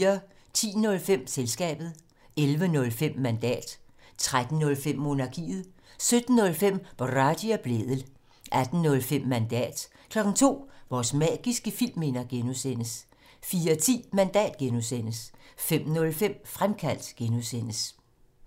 10:05: Selskabet 11:05: Mandat 13:05: Monarkiet 17:05: Boraghi og Blædel 18:05: Mandat 02:00: Vores magiske filmminder (G) 04:10: Mandat (G) 05:05: Fremkaldt (G)